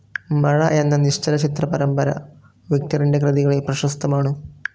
മഴ എന്ന നിശ്ചലചിത്ര പരമ്പര വിക്ടറിൻ്റെ കൃതികളിൽ പ്രശസ്തമാണ്.